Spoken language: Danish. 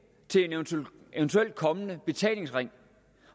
til en eventuelt kommende betalingsring